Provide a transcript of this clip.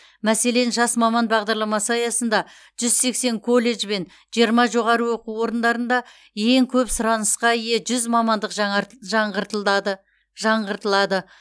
мәселен жас маман бағдарламасы аясында жүз сексен колледж бен жиырма жоғары оқу орындарында ең көп сұранысқа ие жүз мамандық жаңарт жаңғыртылады жаңғыртылады